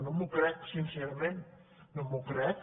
no m’ho crec sincerament no m’ho crec